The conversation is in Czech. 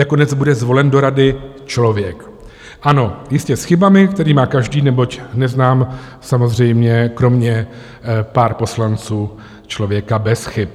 Nakonec bude zvolen do rady člověk, ano, jistě s chybami, které má každý, neboť neznám samozřejmě kromě pár poslanců člověka bez chyb.